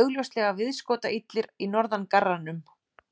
augljóslega viðskotaillir í norðangarranum.